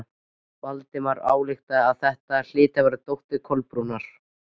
Valdimar ályktaði að þetta hlyti að vera dóttir Kolbrúnar.